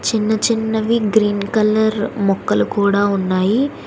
చిన్న చిన్నవి green colour మొక్కలు కూడా ఉన్నాయి.